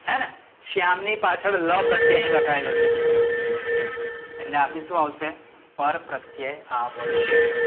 હેને? શ્યામ ની પાછડ લ પ્રત્યય અહી લાગાયેલો છે. એટ્લે આ બી શું આવશે? પરપ્રત્યય આવશે.